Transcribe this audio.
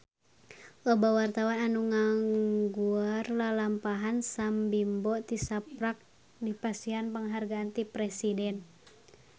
Loba wartawan anu ngaguar lalampahan Sam Bimbo tisaprak dipasihan panghargaan ti Presiden